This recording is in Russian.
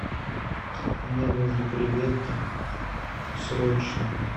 мне нужно креветки срочно